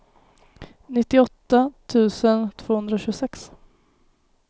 nittioåtta tusen tvåhundratjugosex